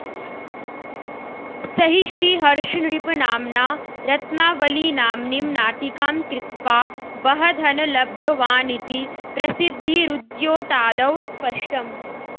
स हि श्रीहर्षनृपनाम्ना रत्नावलीनाम्नीं नाटिकां कृत्वा बह धन लब्धवानिति प्रसिद्धिरुद्द्योतादौ स्पष्टम्